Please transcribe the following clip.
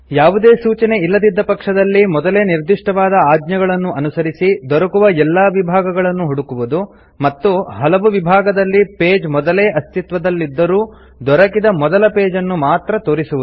ಯಾವುದೇ ಸೂಚನೆ ಇಲ್ಲದಿದ್ದ ಪಕ್ಷದಲ್ಲಿ ಮೊದಲೇ ನಿರ್ದಿಷ್ಟವಾದ ಆಜ್ಞೆಗಳನ್ನು ಅನುಸರಿಸಿ ದೊರಕುವ ಎಲ್ಲ ವಿಭಾಗಗಳನ್ನು ಹುಡುಕುವುದು ಮತ್ತು ಹಲವು ವಿಭಾಗದಲ್ಲಿ ಪೇಜ್ ಮೊದಲೇ ಅಸ್ತಿತ್ವದಲ್ಲಿದ್ದರೂ ದೊರಕಿದ ಮೊದಲ ಪೇಜ್ ಅನ್ನು ಮಾತ್ರ ತೋರಿಸುವುದು